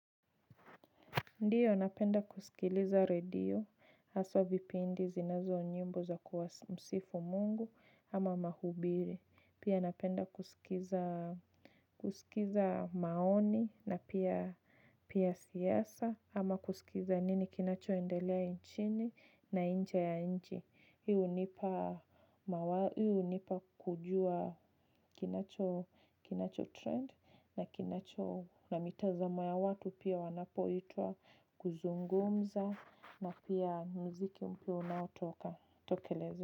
Ndiyo napenda kusikiliza radio aswa vipindi zinazo nyimbo za kuwa msifu mungu ama mahubiri. Pia napenda kusikiza maoni na pia siasa ama kusikiza nini kinacho endalea inchini na inje ya inchi. Hi unipa kujua kinacho trend na mitazamo ya watu pia wanapoitwa kuzungumza na pia mziki mpya unaotokelezea.